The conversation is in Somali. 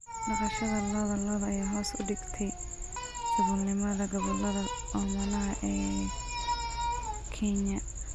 Dhaqashada lo'da lo'da ayaa hoos u dhigtay saboolnimada gobollada oomanaha ah ee Kenya.